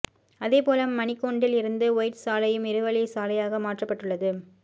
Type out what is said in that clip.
அதே போல மணிக்கூண்டில் இருந்து ஒயிட்ஸ் சாலையும் இருவழி சாலையாக மாற்றப்பட்டுள்ளது